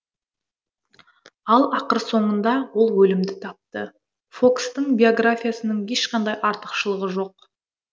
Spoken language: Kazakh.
ал ақыр соңында ол өлімді тапты фокстың биографиясының ешқандай артықшылығы жоқ